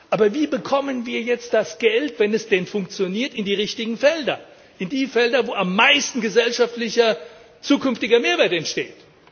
Aber wie bekommen wir jetzt das Geld, wenn es denn funktioniert, in die richtigen Felder, in die Felder, wo am meisten gesellschaftlicher zukünftiger Mehrwert entsteht?